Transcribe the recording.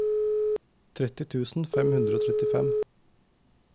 tretti tusen fem hundre og trettifem